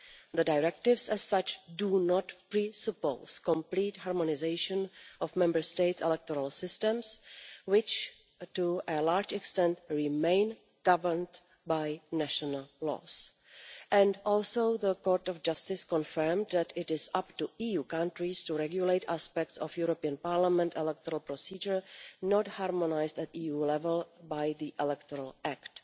The Directives as such do not presuppose complete harmonisation of Member States' electoral systems, which, to a large extent, remain governed by national laws. Also, the Court of Justice confirmed that it is up to EU countries to regulate aspects of European Parliament electoral procedure not harmonised at EU level by the Electoral Act.